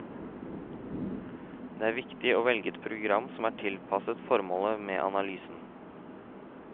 Det er viktig å velge et program som er tilpasset formålet med analysen.